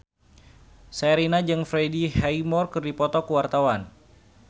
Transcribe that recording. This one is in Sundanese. Sherina jeung Freddie Highmore keur dipoto ku wartawan